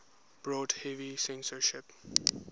brought heavy censorship